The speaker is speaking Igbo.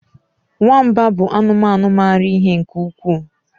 nwamba bụ anụmanụ maara ihe nke ukwuu